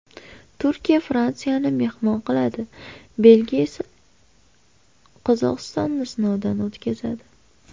Turkiya Fransiyani mehmon qiladi, Belgiya esa Qozog‘istonni sinovdan o‘tkazadi.